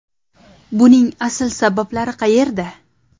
Buning asl sabablari qayerda?